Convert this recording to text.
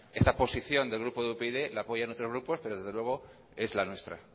esta posición del grupo upyd la apoyan los demás grupos pero desde luego es la nuestra